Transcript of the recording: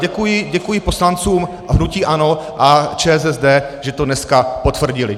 Děkuji poslancům hnutí ANO a ČSSD, že to dneska potvrdili.